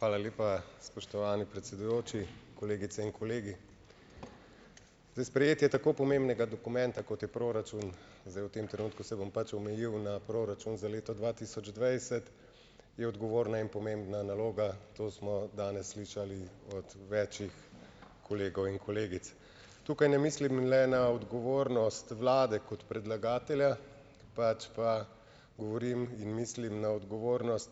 Hvala lepa, spoštovani predsedujoči, kolegice in kolegi, zdaj, sprejetje tako pomembnega dokumenta, kot je proračun, zdaj v tem trenutku se bom pač omejil na proračun za leto dva tisoč dvajset, je odgovorna in pomembna naloga, to smo danes slišali od več kolegov in kolegic, tukaj ne mislim le na odgovornost vlade kot predlagatelja, pač pa govorim in mislim na odgovornost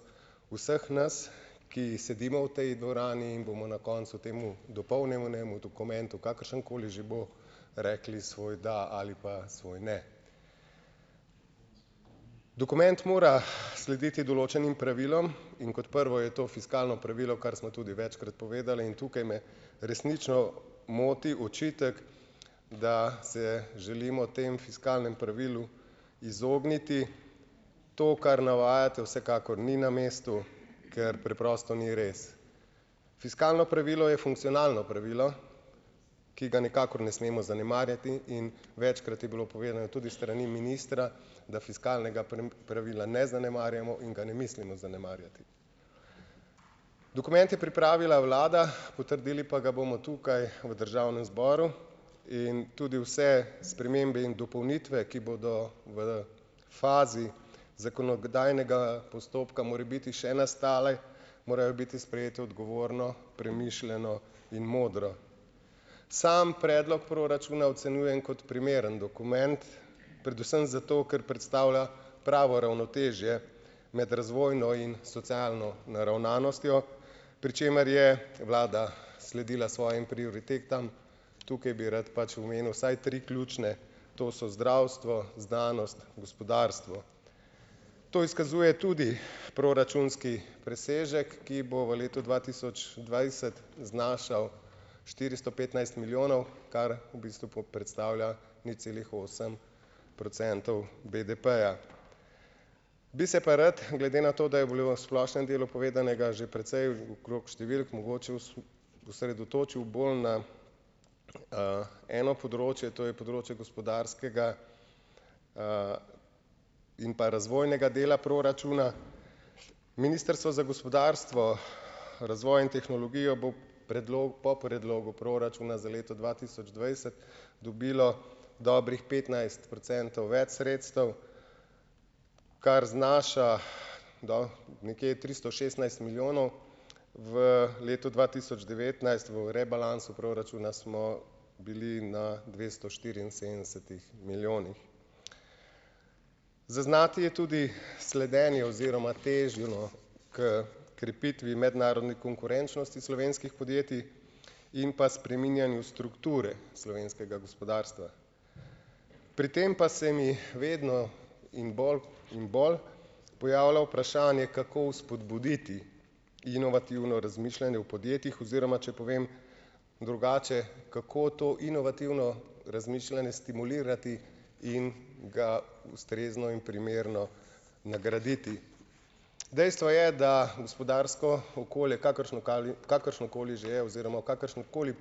vseh nas, ki sedimo v tej dvorani in bomo na koncu temu dopolnjenemu dokumentu, kakršenkoli že bo, rekli svoj da ali pa svoj ne, dokument mora slediti določenim pravilom, in kot prvo je to fiskalno pravilo, kar smo tudi večkrat povedali, in tukaj me resnično moti očitek, da se želimo temu fiskalnemu pravilu izogniti, to, kar navajate vsekakor ni na mestu, ker preprosto ni res, fiskalno pravilo je funkcionalno pravilo, ki ga nikakor ne smemo zanemarjati, in večkrat je bilo povedano tudi s strani ministra, da fiskalnega pravila ne zanemarjamo in ga ne mislimo zanemarjati, dokument je pripravila vlada, potrdili pa ga bomo tukaj v državnem zboru, in tudi vse spremembe in dopolnitve, ki bodo v fazi zakonodajnega postopka morebiti še nastale, morajo biti sprejete odgovorno premišljeno in modro, sam predlog proračuna ocenjujem kot primeren dokument, predvsem zato, ker predstavlja pravo ravnotežje med razvojno in socialno naravnanostjo, pri čemer je vlada sledila svojim prioritetam, tukaj bi rad pač omenil vsaj tri ključne, to so zdravstvo, znanost, gospodarstvo, to izkazuje tudi proračunski presežek, ki bo v letu dva tisoč dvajset znašal štiristo petnajst milijonov, kar v bistvu predstavlja nič celih osem procentov BDP-ja, bi se pa rad glede na to, bilo v splošnem delu povedanega že precej, in krog številk mogoče osredotočil bolj na, eno področje, to je področje gospodarskega, pa razvojnega dela proračuna, ministrstvo za gospodarstvo razvoj in tehnologijo bo po predlogu proračuna za leto dva tisoč dvajset dobilo dobrih petnajst procentov več sredstev, kar znaša do nekje tristo šestnajst milijonov, v letu dva tisoč devetnajst smo v rebalansu proračuna smo bili na dvesto štiriinsedemdesetih milijonih, zaznati je tudi sledenje oziroma težnjo h krepitvi mednarodne konkurenčnosti slovenskih podjetij in pa spreminjanju strukture slovenskega gospodarstva, pri tem pa se mi vedno in bolj in bolj pojavlja vprašanje, kako vzpodbuditi inovativno razmišljanje v podjetjih, oziroma če povem drugače, kako to inovativno razmišljanje stimulirati in ga ustrezno in primerno nagraditi, dejstvo je, da gospodarsko okolje, kakršnokali, kakršnokoli že je, oziroma v kakršnemkoli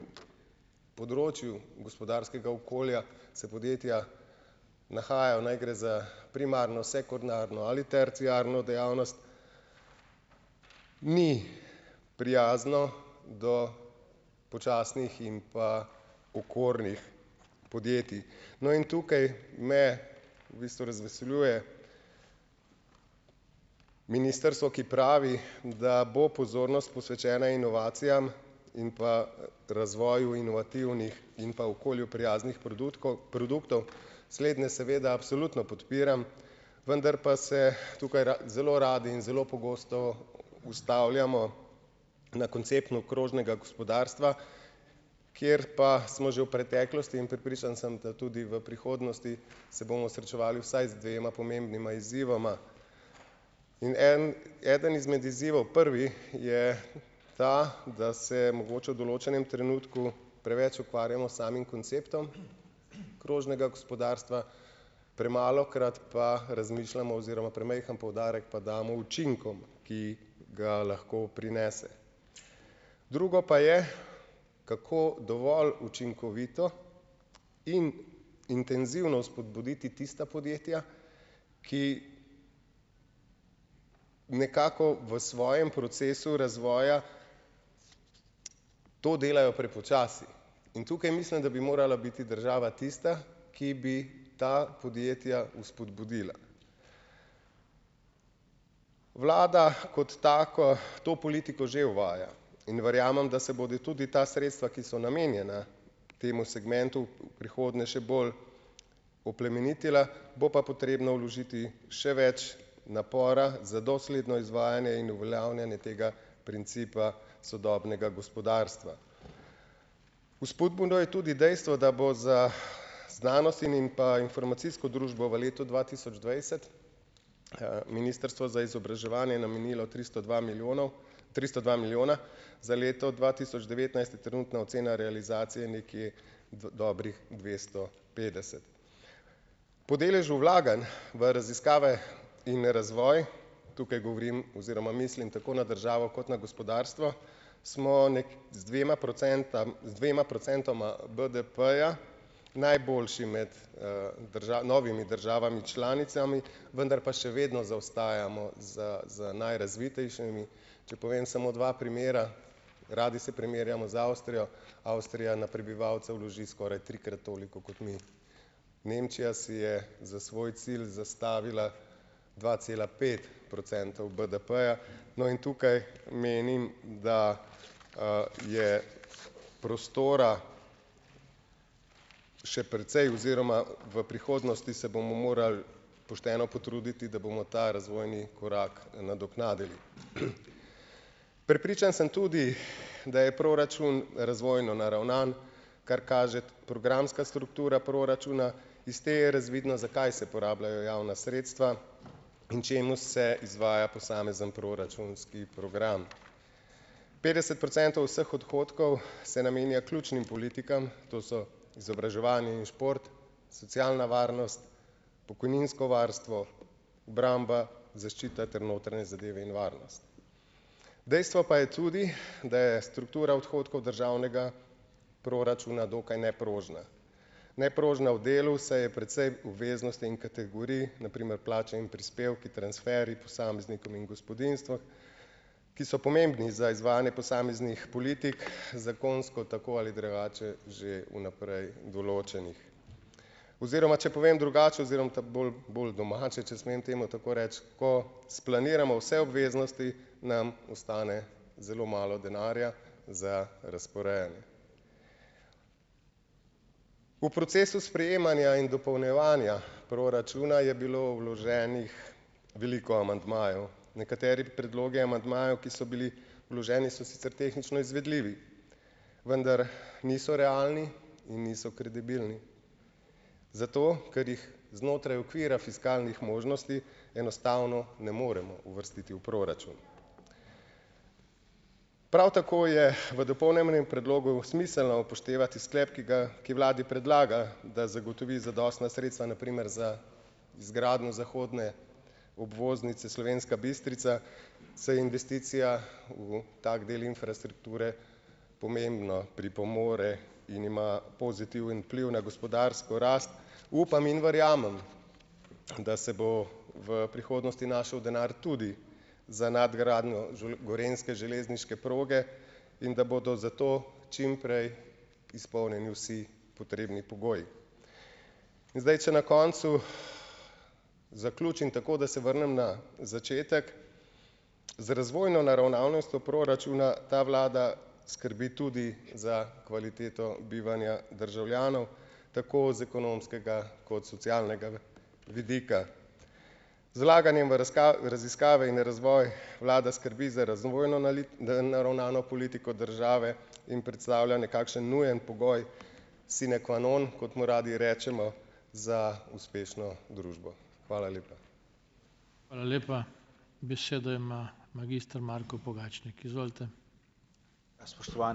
področju gospodarskega okolja se podjetja nahajajo, naj gre za primarno, sekundarno ali terciarno dejavnost, mi prijazno do počasnih in pa okornih podjetij, no, in tukaj me v bistvu razveseljuje ministrstvo, ki pravi, da bo pozornost posvečena inovacijam in pa razvoju inovativnih in pa okolju prijaznih produtkov, produktov, slednje seveda absolutno podpiram, vendar pa se tukaj zelo rad in zelo pogosto ustavljamo na konceptu krožnega gospodarstva, kjer pa smo že v preteklosti, in prepričan sem, da tu v prihodnosti se bomo srečevali vsaj z dvema pomembnima izzivoma, in en eden izmed izzivov, prvi, je ta, da se mogoče v določenem trenutku preveč ukvarjamo s samim konceptom krožnega gospodarstva, premalokrat pa razmišljamo oziroma premajhen poudarek pa damo učinkom, ki ga lahko prinese, drugo pa je, kako dovolj učinkovito in intenzivno vzpodbuditi tista podjetja, ki nekako v svojem procesu razvoja to delajo prepočasi, in tukaj mislim, da bi morala biti država tista, ki bi ta podjetja vzpodbudila, vlada kot tako to politiko že uvaja, in verjamem, da se bodi tudi ta sredstva, ki so namenjena temu segmentu, v prihodnje še bolj oplemenitila, bo pa potrebno vložiti še več napora za dosledno izvajanje in uveljavljanje tega principa sodobnega gospodarstva. Vzpodbudno je tudi dejstvo, da bo za znanost in in pa informacijsko družbo v letu dva tisoč dvajset ministrstvo za izobraževanje je namenilo tristo dva milijonov tristo dva milijona, za leto dva tisoč devetnajst je trenutna ocena realizacije nekje dobrih dvesto petdeset po deležu vlaganj v raziskave in razvoj, tukaj govorim oziroma mislim tako na državo kot na gospodarstvo, smo z dvema procentam, z dvema procentoma BDP-ja najboljši med, novimi državami članicami, vendar pa še vedno zaostajamo za, za najrazvitejšimi, če povem samo dva primera, radi se primerjamo z Avstrijo, Avstrija na prebivalca vloži skoraj trikrat toliko kot mi, Nemčija si je za svoj cilj zastavila dva cela pet procentov BDP-ja, no, in tukaj menim, da, je prostora še precej oziroma v prihodnosti se bomo morali pošteno potruditi, da bomo ta razvojni korak nadoknadili, prepričan sem tudi, da je proračun razvojno naravnan, kar kaže programska struktura proračuna, iz te je razvidno, za kaj se porabljajo javna sredstva in čemu se izvaja posamezni proračunski program, petdeset procentov vseh odhodkov se namenja ključnim politikam, to so izobraževanje in šport, socialna varnost, pokojninsko varstvo, obramba, zaščita ter notranje zadeve in varnost, dejstvo pa je tudi, da je struktura odhodkov državnega proračuna dokaj neprožna, neprožna v delu se je precej obveznosti in kategorij, na primer plača in prispevki, transferji posameznikom in gospodinjstvom, ki so pomembni za izvajanje posameznih politik zakonsko, tako ali drugače, že v naprej določenih, oziroma če povem drugače, oziroma ta bolj, bolj domače, če smem temu tako reči, ko splaniramo vse obveznosti, nam ostane zelo malo denarja za razporejanje, v procesu sprejemanja in dopolnjevanja proračuna je bilo vloženih veliko amandmajev, nekateri predlogi amandmajev, ki so bili vloženi, so sicer tehnično izvedljivi, vendar niso realni in niso kredibilni, zato ker jih znotraj okvira fiskalnih možnosti enostavno ne moremo uvrstiti v proračun, prav tako je v dopolnjenem predlogu smiselno upoštevati sklep, ki ga, ki vladi predlaga, da zagotovi zadostna sredstva, na primer za izgradnjo zahodne obvoznice Slovenska Bistrica, se investicija v tak del infrastrukture pomembno pripomore in ima pozitiven vpliv na gospodarsko rast, upam in verjamem, da se bo v prihodnosti našel denar tudi za nadgradnjo gorenjske železniške proge in da bodo zato čimprej izpolnjeni vsi potrebni pogoji. In zdaj če na koncu zaključim tako, da se vrnem na začetek, z razvojno naravnanostjo proračuna ta vlada skrbi tudi za kvaliteto bivanja državljanov tako z ekonomskega kot socialnega vidika z vlaganjem v raziskave in razvoj vlada skrbi za razumen da naravnano politiko države in predstavlja nekakšen nujen pogoj sine qua non, kot mu radi rečemo, za uspešno družbo, hvala lepa.